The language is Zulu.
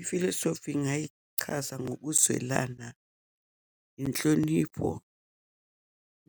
Ifilosofi ngingayichaza ngokuzwelana, inhlonipho